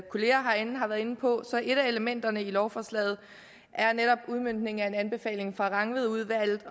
kollegaer herinde har været inde på så er et af elementerne i lovforslaget netop udmøntningen af en anbefaling fra rangvidudvalget